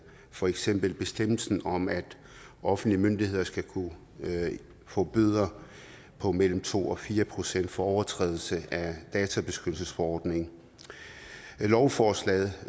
for eksempel bestemmelsen om at offentlige myndigheder skal kunne få bøder på mellem to og fire procent for overtrædelse af databeskyttelsesforordningen i lovforslaget